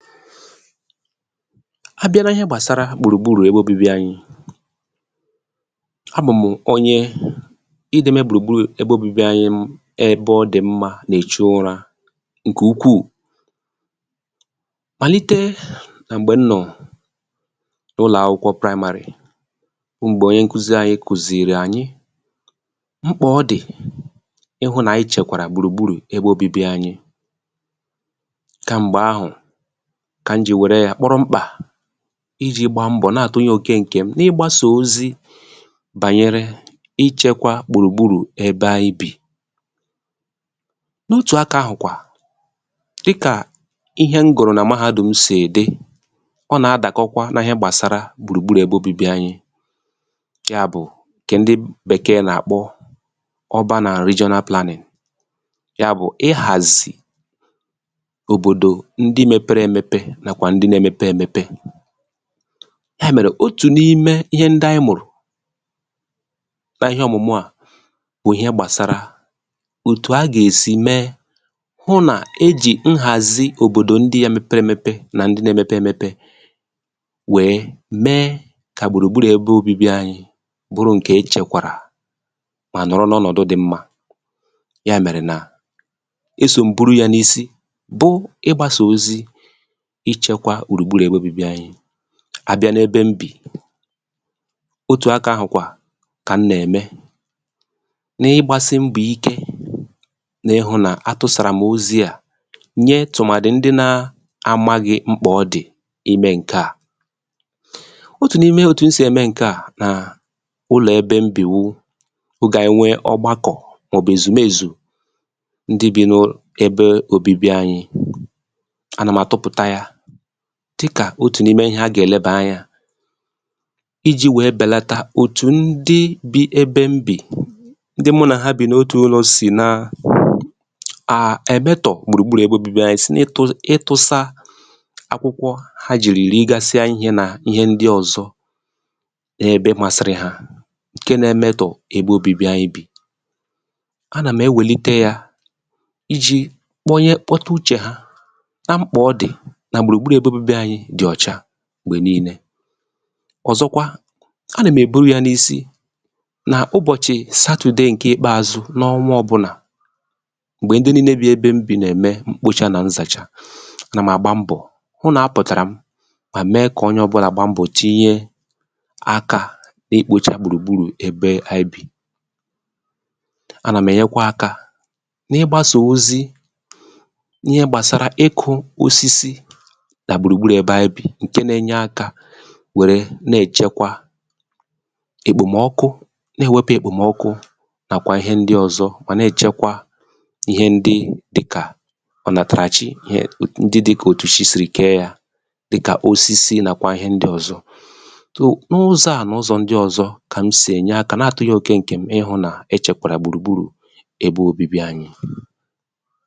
file 113 abi̇a na i̇hẹ gbàsara gbùrù gburù ẹbẹ obibi anyị nọ̀ a bụm onye ị ga ẹmẹ gbùrù gburù ẹbẹ obibi anyị ẹbẹ ọ dị̀ mmā nà èchu ụrā ǹkẹ̀ ukwù màlite nà m̀gbẹ m nọ̀ n’ụlọ̀akwụkwọ praịmārị̀ bụ m̀gbẹ̀ onye nkuzi anyị kùzìèrè ànyị mkpà ọ dị̀ ịhụ̄ nà anyị chẹ̀kwàrà gbùrù gburù ẹbẹ obibi anyị kà m̀gbẹ̀ ahụ̀ kà m jì wẹ̀rẹ ya kpọrọ mkpà ijī gba mbọ̀ nà àtụnyẹ òke ǹkẹ m n’ịgbasà ozi bànyere ịchẹkwa gbùrù gburù ẹbẹ anyị bì n’otù akā ahụ̀ kwà dịkà ihẹ m gụ̀rụ̀ nà Mahādùm sị̀ dị ọ nà adàkọkwa nà ịhẹ gbàsara gbùrù gburù ẹbẹ obibi anyị yà bụ̀ ǹkẹ ndị Bẹ̀kẹ̀ nà àkpọ oban àǹd rijonal planịn òbòdò ndi mepere emepe nàkwà ndị na emepe emepe ha mẹrẹ òtù n’ime ihe ndị anyị mụ̀rụ̀ na ịhẹ ọ̀mụ̀mụ̀ à na ịhẹ gbàsara òtù a gà èsi mẹ hụ nà e jì nhàzi òbòdò ndịa mepere emepe nà ndị na emepe emepe wèe me kà gbùrù gburù ẹbẹ obibi anyị bụrụ ǹkẹ ẹchẹ̀kwàrà mà nọ̀rọ n’ọnọdụ dị̄ mmā yà mẹ̀rẹ̀ nà e sò m buru ya n’isi bụ ịgbāsà ozi ịchẹkwa gbùrù gburù ẹbẹ obibi anyị a bịa n’ebe m bì otù akā ahụ̀ kà m nà ẹ̀mẹ n’ịgbasị mbọ̀ ike nà ịhụ̄ nà agbāsàràm ozi à nye tụmàdị ndị na amaghị mkpà ọ dị̀ ịmẹ ǹkẹ̀ à otù n’ime òtù m sì ème ǹkẹ̀ a nà ụlọ̀ ẹbẹ m bì wụ ogè ànyị nwe ogbakọ̀ mà ọ̀ bụ̀ èzùmezù ndị bị n’..ebe obibi anyị a nà m̀ àtụpụ̀ta yā dịkà otù n’ime ihẹ a gà ẹ̀lẹbà anyā ijī wẹ̀ẹ bẹ̀lata òtù ndị bi ebe m bì ndị mụ nà ha bì n’otù ụlọ̄ sì na à à ẹ̀mẹtọ̀ gbùrù gburù ẹbẹ obibi anyị si n’ịtụsa akwụkwọ ha jìrì rigasia ihē nà ịhẹ ndị ọ̀zọ na ebe masịrị ha ǹke na ẹmẹtọ ẹbẹ obībi anyị bì a nà m ewèlite ya ijī kpọta uchè ha nà mkpà ọ dị̀ nà gbùrù gburù ẹbẹ obibi anyị dị̀ ọ̀chà m̀gbè nille ọ̀zọkwa a nà m̀ èbo ya n’isi nà ụbọ̀chị Satùde ǹke ikpeàzụ n’ọnwa ọbụlà m̀gbè ndị nille bi ebe m bì na ẹ̀mẹ mkpocha nà nzàcha a nà m àgba mbọ̀ hụ nà apụ̀tàrà m mà mẹ kà onye ọbụnà gba mbọ̀ tinye akā n’ikpōchà gbùrù gburù ebe anyị bì a nà m̀ ẹ̀nyẹkwa akā n’ịgbāsà ozi ihe gbàsara ikụ̄ osisi nà gbùrù gburù ebe anyị bì ǹkẹ na ẹnyẹ akā nà ẹchẹkwa èkpòmọkụ nà èwepu èkpòmọkụ nàkwà ihe ndị ọzọ mà nà èchekwa ihe ndị dịkà ọ̀nàtàràchi ihẹ dị kà òtù chi sì wẹ̀ẹ kẹ̀ẹ ya dịkà osisi nàkwà ihe ndị ọ̀zọ n’ụzọ à nà ụzọ̀ ndị ọzọ kà m sì ẹnyẹ akā nà àtunye òke ǹkẹ m ịhụ nà ẹchẹ̀kwàrà gbùrù gburù ẹbẹ obibi anyị